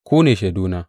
Ku ne shaiduna.